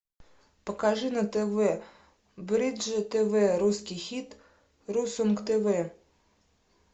покажи на тв бридж тв русский хит ру сонг тв